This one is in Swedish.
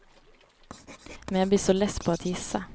Men jag blir så less på att gissa!